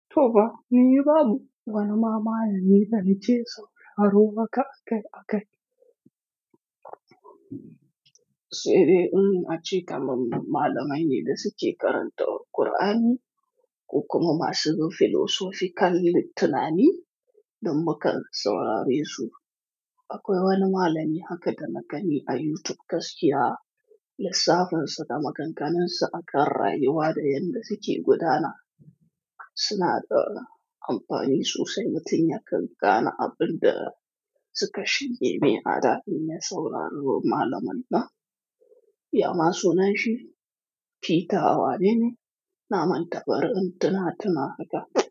To ba, ni yi babu wani malami na nita na ce sauraro haka a kai a kai. Sai dai ina cika malamai ne da suke karantar da Kur'ani ko kuma masu bin filosofikal tunani duk mukan saurare su. Akwai wani malami haka dana gani a YouTube gaskiya, lissafin shi da maganganun shi akan rayuwa da yadda suke gudana. Suna da amfani sosai, mutum ya anfana abin da suka shige me a rayuwa mai sauraro malamai na. Ya ma suna shi Peter Wanene, na manta barin intina tuna haka.